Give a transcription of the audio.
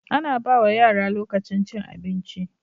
Ana Bawa yara lokacin cin abinci